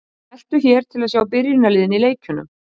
Smelltu hér til að sjá byrjunarliðin í leikjunum.